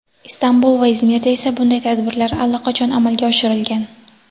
Istanbul va Izmirda esa bunday tadbirlar allaqachon amalga oshirilgan.